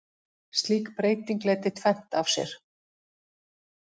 Slík breyting leiddi tvennt af sér.